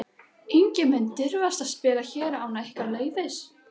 Enginn mun dirfast að spila hér án ykkar leyfis.